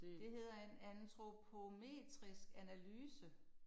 Det hedder en antropometrisk analyse